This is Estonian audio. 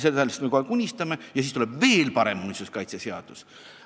Sellest me kogu aeg unistame ja siis tuleb veel parem muinsuskaitseseadus.